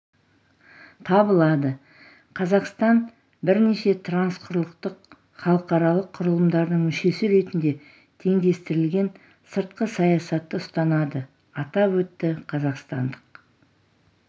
табылады қазақстан бірнеше трансқұрлықтық халықаралық құрылымдардың мүшесі ретінде теңдестірілген сыртқы саясатты ұстанады атап өтті қазақстандық